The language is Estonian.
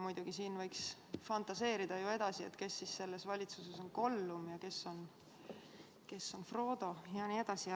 Muidugi, võiks ju edasi fantaseerida, kes selles valitsuses on Gollum ja kes on Frodo jne.